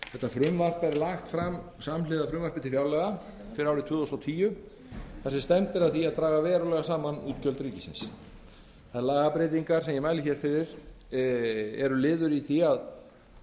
þetta frumvarp er lagt fram samhliða frumvarpi til fjárlaga fyrir árið tvö þúsund og tíu þar sem stefnt er að því að draga verulega saman útgjöld ríkisins þær lagabreytingar sem ég mæli fyrir hér eru liðir í því að